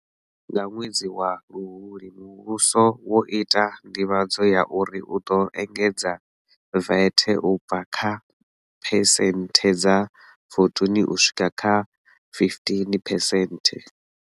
Nga ṅwedzi wa Luhuhi muvhuso wo ita nḓivhadzo ya uri u ḓo engedza VAT u bva kha phesenthe dza 14 u swika kha15 phesenthe.